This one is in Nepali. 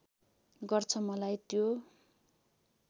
गर्छ मलाई त्यो